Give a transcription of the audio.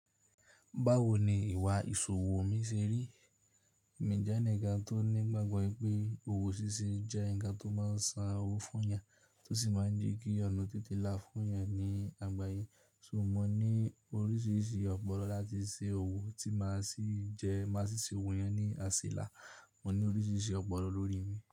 Báwo ni ìwà ìṣòwò mi ṣe rí? Èmi jẹ́ ẹnì kan tó nígbàgbọ́ pé òwò ṣíṣe jẹ́ ǹkan tó máa ń san owó fún yàn tó sì máa ń jẹ́ kí ọ̀nà tètè lá fún yàn ní àgbáyé. So mo ní oríṣiríṣi ọ̀pọ̀lọ́ láti ṣe òwò tí máa sì jẹ́ máa ṣiṣẹ́ òwò yẹn ní asela Mo ní oríṣiríṣi ọ̀pọ̀lọ́ lórí mi.